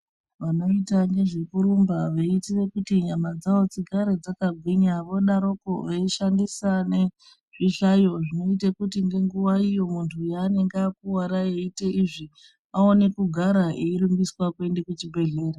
Vanoita ngezvekurumba veiitira kuti nyama dzavo dzigare dzakagwinya vodaroko veishandisa nezvishayo zvinoite kuti ngenguwayo muntu yaanenge akuwara eita izvi aone kugara eirumbiswa kuende kuchibhedhlera .